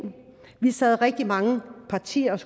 vi sad rigtig mange partier og